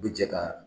U bi jɛ ka